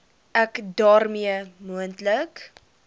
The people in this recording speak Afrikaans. ek daarmee moontlike